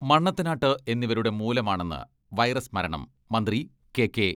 മണ്ണത്തനാട്ട് എന്നിവരുടെ മൂലമാണെന്ന് വൈറസ് മരണം മന്ത്രി കെ കെ